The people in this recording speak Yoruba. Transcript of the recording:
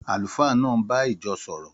Àlùfáà náà ń bá ìjọ sọ̀rọ̀.